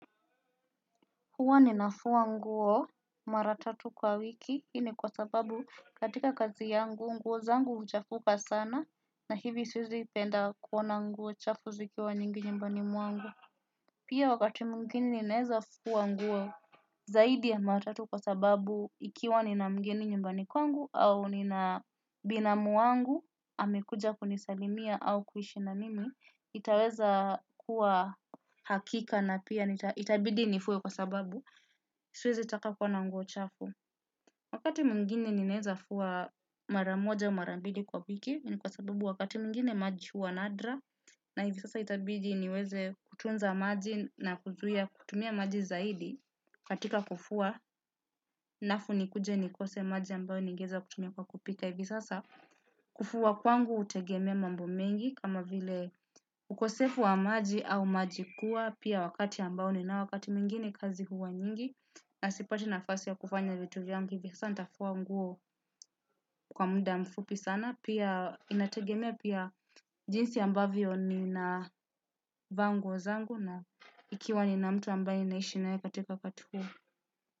Huwa ninafua nguo mara tatu kwa wiki, hii ni kwa sababu katika kazi yangu, nguo zangu huchafuka sana, na hivi siwezi penda kuona nguo chafu zikiwa nyingi nyumbani mwangu. Pia wakati mwingine naweza fua nguo zaidi ya mara tatu kwa sababu ikiwa nina mgeni nyumbani kwangu au nina binamu wangu, amekuja kunisalimia au kuishi na mimi, itaweza kuwa hakika na pia itabidi nifue kwa sababu. Siwezi taka kuona nguo chafu. Wakati mwingine ninaweza fua mara moja au mara mbili kwa wiki. Ni kwa sababu wakati mwingine maji huwa nadra. Na hivi sasa itabidi niweze kutunza maji na kutumia maji zaidi. Katika kufua alafu nikuje nikose maji ambayo ningeweza kutumia kwa kupika. Hivi sasa kufua kwangu hutegemea mambo mengi kama vile ukosefu wa maji au maji kuwa pia wakati ambao nina wakati mwingine kazi huwa nyingi. Na sipati nafasi ya kufanya vitu vyangu hivi sasa nitafua nguo kwa muda mfupi sana. Pia inategemea pia jinsi ambavyo ninavaa nguo zangu na ikiwa nina mtu ambaye ninaishi naye katika wakati huo.